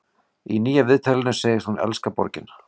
Í nýja viðtalinu segist hún elska borgina.